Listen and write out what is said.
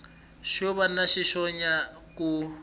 xo va na swihoxonyana ku